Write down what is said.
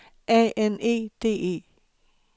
A N E D E